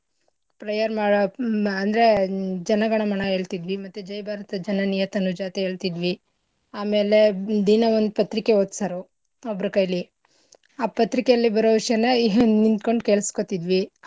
Prayer ಮಾಡ ಮಾ ಅಂದ್ರೆ ಜನ ಗಣ ಮಣ ಹೇಳ್ತಿದ್ವಿ, ಮತ್ತೇ ಜೈ ಭಾರತ ಜನನಿಯ ತನುಜಾತೆ ಹೇಳ್ತಿದ್ವಿ, ಆಮೇಲೆ ದಿನಾ ಒಂದ್ ಪತ್ರಿಕೆ ಓದ್ಸೋರು ಒಬ್ರ ಕೈಲಿ ಆ ಪತ್ರಿಕೆಲಿ ಬರೋ ವಿಷ್ಯನ ಹಿಂದ್ ನಿಂತ್ಕೊಂಡ್ ಕೇಳಸ್ಕೊತಿದ್ವಿ.